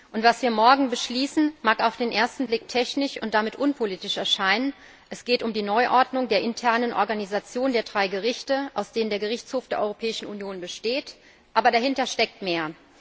Und was wir morgen beschließen, mag auf den ersten Blick technisch und damit unpolitisch erscheinen, es geht um die Neuordnung der internen Organisation der drei Gerichte, aus denen der Gerichtshof der Europäischen Union besteht, aber dahinter steckt mehr.